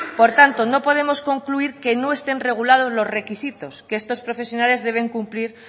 por tanto no podemos concluir que no estén regulados los requisitos que estos profesionales deben cumplir